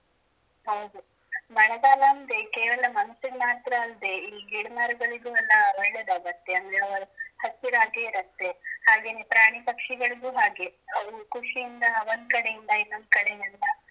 ಹೌದು ಮಳೆಗಾಲ ಅಂದ್ರೆ ಕೇವಲ ಮನುಷ್ಯನಿಗೆ ಮಾತ್ರ ಅಲ್ದೆ ಇಲ್ಲಿ ಗಿಡಮರಗಳಿಗೂ ಎಲ್ಲ ಒಳ್ಳೇದಾಗುತ್ತೆ ಅಂದ್ರೆ ಅವು ಹಸಿರಾಗೇ ಇರತ್ತೆ ಹಾಗೇನೇ ಪ್ರಾಣಿ ಪಕ್ಷಿಗಳಿಗೂ ಹಾಗೆ ಅವು ಖುಷಿಯಿಂದ ಒಂದ ಕಡೆಯಿಂದ ಇನ್ನೊಂದು ಕಡೆಗೆಲ್ಲ.